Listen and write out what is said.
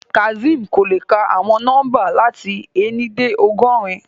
Kazeem ko le ka awọn nọmba lati éni de ọgọrun